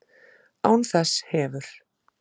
Án þess hefur